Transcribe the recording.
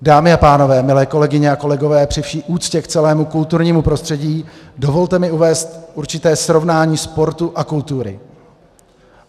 Dámy a pánové, milé kolegyně a kolegové, při vší úctě k celému kulturnímu prostředí, dovolte mi uvést určité srovnání sportu a kultury.